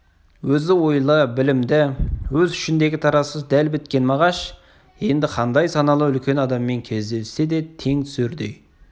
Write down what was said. өзі ойлы білімді өз ішіндегі таразысы дәл біткен мағаш енді қандай саналы үлкен адаммен кездессе де тең түсердей